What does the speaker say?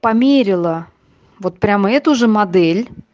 померила вот прямо эту же модель